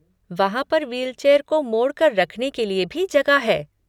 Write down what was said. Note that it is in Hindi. वहाँ पर व्हीलचेयर को मोड़ कर रखने के लिए भी जगह है।